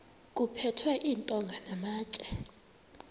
kuphethwe iintonga namatye